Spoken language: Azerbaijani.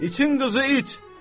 İtin qızı it!